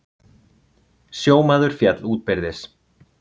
Sjómaður féll útbyrðis